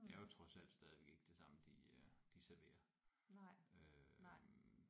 Det er jo trods alt stadigvæk ikke det samme de øh de serverer øh